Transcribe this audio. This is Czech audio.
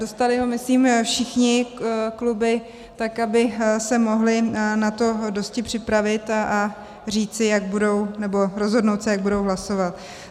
Dostali ho myslím všechny kluby, tak aby se mohly na to dosti připravit a říci, jak budou, nebo rozhodnout se, jak budou hlasovat.